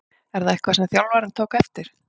Er það eitthvað sem þjálfarinn tók eftir?